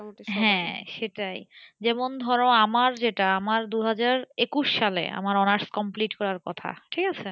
হ্যাঁ সেটাই যেমন ধর আমার যেটা আমার দুহাজার একুশ সালে আমার honours complete করার কথা, ঠিক আছে?